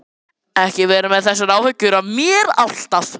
Ekki vera með þessar áhyggjur af mér alltaf!